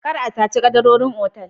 Kar a saci kadarorin otal